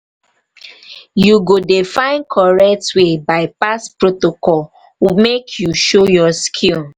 you go dey find correct way by-pass protocol make you show your skill